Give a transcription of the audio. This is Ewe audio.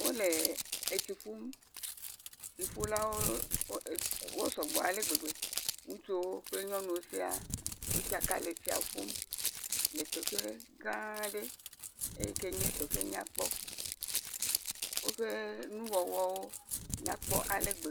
Wole etsi ƒum, tsiƒulawo wo..e..wosɔ gbɔ ale gbegbe, ŋutsuwo kple nyɔnuwo wotsaka le etsia ƒum, le teƒe gã aɖe eyi ke nye teƒe nyakpɔ, woƒe nu wɔwɔwo nyakpɔ ale gbe.